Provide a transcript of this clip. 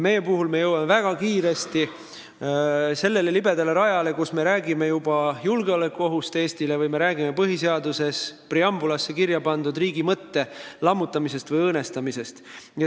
Meie puhul jõuame väga kiiresti sellele libedale rajale, kus me räägime juba julgeolekuohust Eestile või põhiseaduse preambulisse kirja pandud riigi mõtte lammutamisest või õõnestamisest.